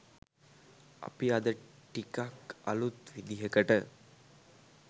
අපි අද ටිකක්‌ අලුත් විදිහකට